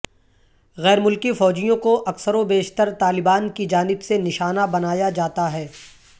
غیر ملکی فوجیوں کو اکثر و بیشتر طالبان کی جانب سے نشانہ بنایا جاتا ہے